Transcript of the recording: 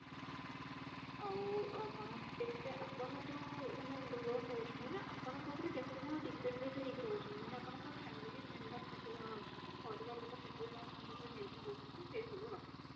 ଆଉ ଆପଣ କେତେ ଆପଣ ଯୋଉ ମାନେ ଯୋଉ loan ନଉଛନ୍ତି ନା ଆପଣଙ୍କ ଉପରେ କେତେ ଜଣ depended ହେଇକି ରହୁଛନ୍ତି ମାନେ ଆପଣଙ୍କ family member କେତେ ଜଣ ଅଛନ୍ତି ପରିବାର ଲୋକ କେତେ ଜଣ ଆପଣଙ୍କ ଉପରେ ନିର୍ଭର ରହୁଛନ୍ତି ସେ ସବୁ ରହିବ